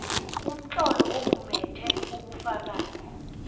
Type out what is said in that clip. umtlolo omumethe ubufakazi